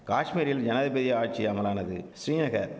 காஷ்மீரில் ஞயபதி ஆட்சி அமலானது ஸ்ரீநகர்